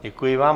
Děkuji vám.